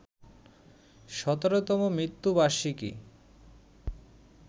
১৭তম মৃত্যুবার্ষিকী